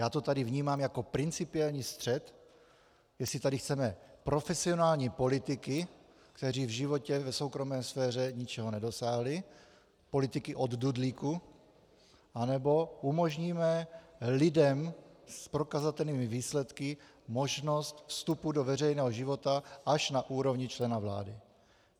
Já to tady vnímám jako principiální střet, jestli tady chceme profesionální politiky, kteří v životě v soukromé sféře ničeho nedosáhli, politiky od dudlíku, nebo umožníme lidem s prokazatelnými výsledky možnost vstupu do veřejného života až na úrovni člena vlády.